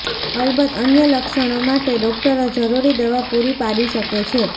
અલબત્ત અન્ય લક્ષણો માટે ડોક્ટરો જરૂરી દવા પુરી પાડી શકે છે